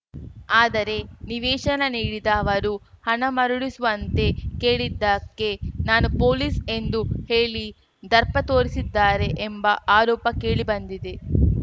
ಆದರೆ ನಿವೇಶನ ನೀಡಿದ ಅವರು ಹಣ ಮರಳಿಸುವಂತೆ ಕೇಳಿದ್ದಕ್ಕೆ ನಾನು ಪೊಲೀಸ್‌ ಎಂದು ಹೇಳಿ ದರ್ಪ ತೋರಿಸಿದ್ದಾರೆ ಎಂಬ ಆರೋಪ ಕೇಳಿ ಬಂದಿದೆ